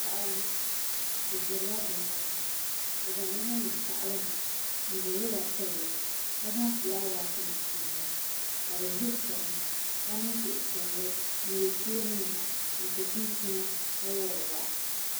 Paɣaba bi ʒirila binyɛra bi zaŋ limi niŋ tahali ni n bo loba pilli ka zaŋ fulaawaasi nim niŋli ka bi ʒiri chɛna ka niŋ suhupiɛlli n yɛ cheeni nima n so chinchina ka wori wahi